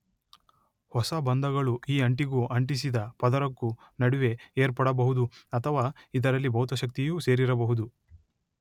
ಹೊಸ ಬಂಧಗಳು ಈ ಅಂಟಿಗೂ ಅಂಟಿಸಿದ ಪದರಕ್ಕೂ ನಡುವೆ ಏರ್ಪಡಬಹುದು ಅಥವಾ ಇದರಲ್ಲಿ ಭೌತಶಕ್ತಿಯೂ ಸೇರಿರಬಹುದು.